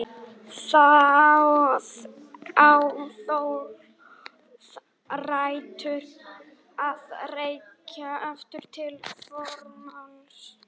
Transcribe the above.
Það á þó rætur að rekja aftur til fornmáls.